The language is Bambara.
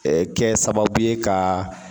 Ɛɛ kɛ sababu ye ka